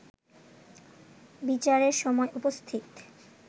বিচারের সময় উপস্থিত